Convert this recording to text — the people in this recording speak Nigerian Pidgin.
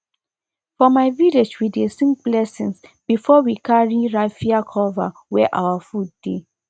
for my village we dey sing blessings before we carry raffia cover where our food dey